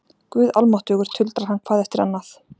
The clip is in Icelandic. Guð almáttugur tuldrar hann hvað eftir annað.